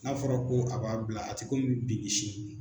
N'a fɔra ko a b'a bila a tɛ ko min bin ni sini.